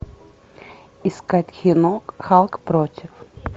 искать кино халк против